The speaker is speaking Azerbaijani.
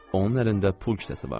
Onun əlində pul kisəsi vardı.